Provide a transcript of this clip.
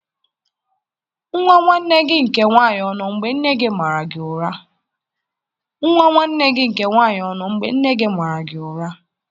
Nwa nwanne gị nke nwanyị ọ nọ mgbe nne di gị mara gị ụra?